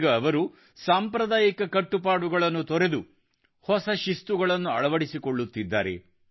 ಈಗ ಅವರು ಸಾಂಪ್ರದಾಯಿಕ ಕಟ್ಟುಪಾಡುಗಳನ್ನು ತೊರೆದು ಹೊಸ ಶಿಸ್ತುಗಳನ್ನು ಅಳವಡಿಸಿಕೊಳ್ಳುತ್ತಿದ್ದಾರೆ